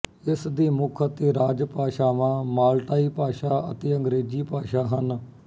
ਇਸ ਦੀ ਮੁੱਖ ਅਤੇ ਰਾਜ ਭਾਸ਼ਾਵਾਂ ਮਾਲਟਾਈ ਭਾਸ਼ਾ ਅਤੇ ਅੰਗਰੇਜ਼ੀ ਭਾਸ਼ਾ ਹਨ